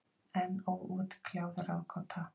Enn óútkljáð ráðgáta.